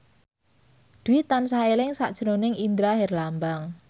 Dwi tansah eling sakjroning Indra Herlambang